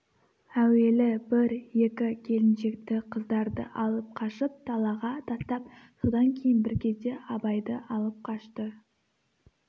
әуелі бір-екі келіншекті қыздарды алып қашып далаға тастап содан кейін бір кезде абайды алып қашты